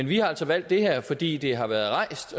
vi har altså valgt det her fordi det har været rejst